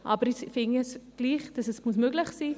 Trotzdem finde ich, es müsse möglich sein.